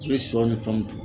I bɛ sɔ ni fɛnw dun.